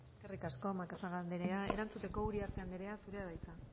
eskerrik asko macazaga anderea erantzuteko uriarte anderea zurea da hitza